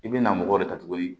I bɛ na mɔgɔ de ta tuguni